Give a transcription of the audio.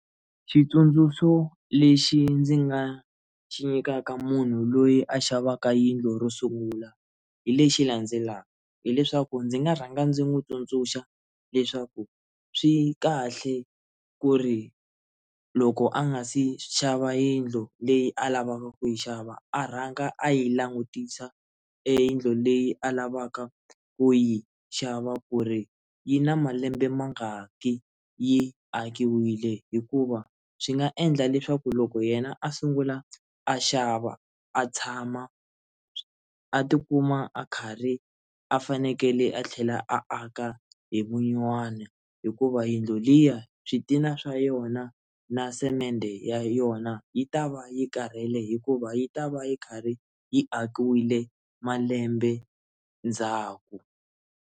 Xitsundzuxo lexi ndzi nga xi nyikaka munhu loyi a xavaka yindlu ro sungula hi lexi landzelaka hileswaku ndzi nga rhanga ndzi n'wi tsundzuxa leswaku swi kahle ku ri loko a nga se xava yindlu leyi a lavaka ku yi xava a rhanga a yi langutisa eyindlu leyi a lavaka ku yi xava ku ri yi na malembe ma nga ki yi akiwile hikuva swi nga endla leswaku loko yena a sungula a xava a tshama a tikuma a karhi a fanekele a tlhela a aka hi vunyuwana hikuva yindlu liya switina swa yona na semende ya yona yi ta va yi karhele hikuva yi ta va yi karhi yi akiwile malembe ndzhaku.